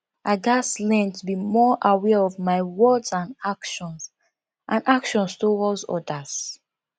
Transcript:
i gats learn to be more aware of my words and actions and actions towards others